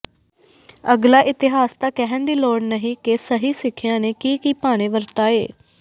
ਅਗਲਾ ਇਤਿਹਾਸ ਤਾਂ ਕਹਿਣ ਦੀ ਲੋੜ ਨਹੀਂ ਕਿ ਸਹੀ ਸਿੱਖਿਆ ਨੇ ਕੀ ਕੀ ਭਾਣੇ ਵਰਤਾਏ